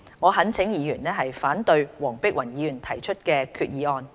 我懇請議員反對黃碧雲議員提出的決議案。